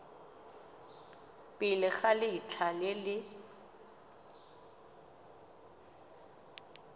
pele ga letlha le le